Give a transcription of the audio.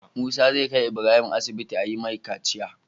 Musa zai kai Ibrahim asibiti ayi mai kaciya